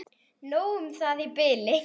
Nóg um það í bili.